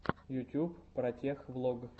ютьюб протех влог